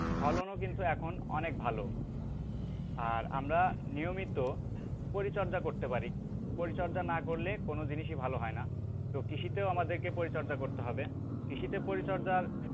ফলনও কিন্তু এখন অনেক ভালো আর আমরা নিয়মিত পরিচর্যা করতে পারি, পরিচর্যা না করলে কোন জিনিসই ভালো হয়না তো কৃষিতেও আমাদেরকে পরিচর্যা করতে হবে। কৃষিতে পরিচর্যার,